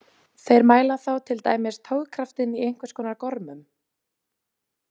Þær mæla þá til dæmis togkraftinn í einhvers konar gormum.